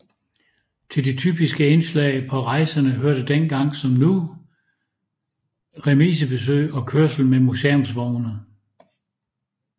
Til de typiske indslag på rejserne hørte dengang som nu remisebesøg og kørsel med museumsvogne